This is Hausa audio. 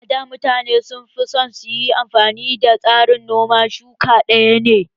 A da mutane sun fi son su yi amfani da tsarin noman shuka ɗaya